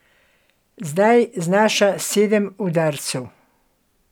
Zdaj znaša sedem udarcev.